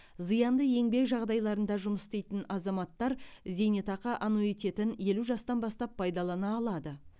зиянды еңбек жағдайларында жұмыс істейтін азаматтар зейнетақы аннуитетін елу жастан бастап пайдалана алады